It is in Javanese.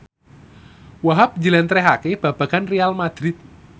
Wahhab njlentrehake babagan Real madrid